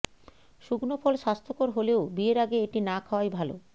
শুকনো ফল স্বাস্থ্যকর হলেও বিয়ের আগে এটি না খাওয়াই ভাল